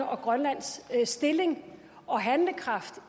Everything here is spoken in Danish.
og grønlands stilling og handlekraft